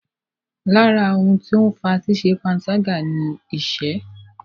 Lára ohun tó ń fa ṣíṣẹ panṣágà ni ìṣẹ́.